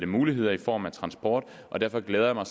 muligheder i form af transport og derfor glæder jeg mig